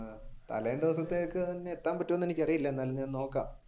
തലേദിവസത്തേക്ക് തന്നെ എത്താൻ പറ്റുമോ എന്ന് എനിക്കറിയില്ല എന്നാലും ഞാൻ നോക്കാം.